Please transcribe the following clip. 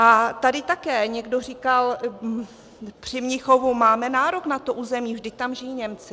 A tady také někdo říkal při Mnichovu: máme nárok na to území, vždyť tam žijí Němci.